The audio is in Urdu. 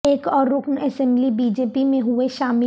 ایک اور رکن اسمبلی بی جے پی میں ہوئے شامل